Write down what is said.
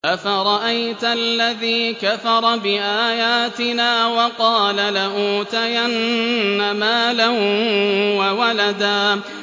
أَفَرَأَيْتَ الَّذِي كَفَرَ بِآيَاتِنَا وَقَالَ لَأُوتَيَنَّ مَالًا وَوَلَدًا